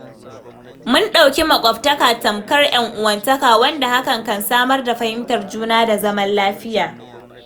Mun ɗauki makwabtaka tamfar 'yan uwantaka, wanda hakan kan samar da fahimtar juna da zaman lafiya.